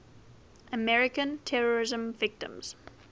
american terrorism victims